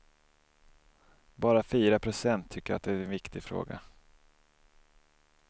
Bara fyra procent tycker att det är en viktig fråga.